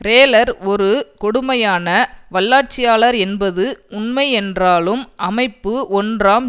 ரேலர் ஒரு கொடுமையான வல்லாட்சியாளர் என்பது உண்மையென்றாலும் அமைப்பு ஒன்றாம்